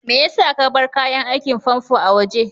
Maya sa ka bar kayan aikin famfo a waje?